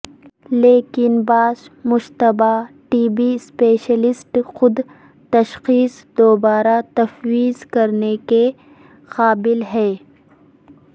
لیکن بعض مشتبہ ٹی بی اسپیشلسٹ خود تشخیص دوبارہ تفویض کرنے کے قابل ہے